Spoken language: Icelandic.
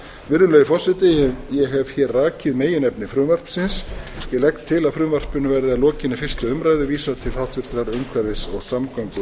virðulegi forseti ég hef hér rakið meginefni frumvarpsins ég legg til að frumvarpinu verði að lokinni fyrstu umræðu vísað til háttvirtrar